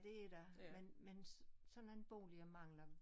Det er der men men sådan nogen boliger mangler